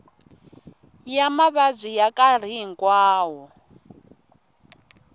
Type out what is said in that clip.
ya mavabyi ya nkarhi hinkwawo